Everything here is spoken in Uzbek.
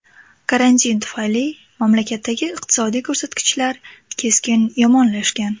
Karantin tufayli mamlakatdagi iqtisodiy ko‘rsatkichlar keskin yomonlashgan.